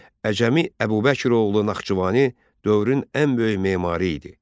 Əcəmi Əbubəkiroğlu Naxçıvani dövrün ən böyük memarı idi.